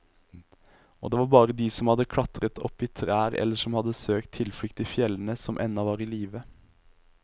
Og det var bare de som hadde klatret opp i trær eller som hadde søkt tilflukt i fjellene, som ennå var i live.